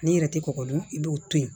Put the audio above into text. N'i yɛrɛ tɛ kɔkɔ dun i b'o to yen